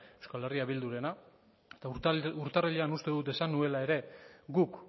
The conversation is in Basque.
eh bildurena eta urtarrilean uste dut esan nuela ere guk